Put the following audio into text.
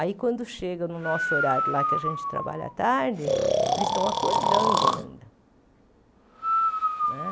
Aí, quando chega no nosso horário, lá que a gente trabalha à tarde, eles estão acordando ainda né.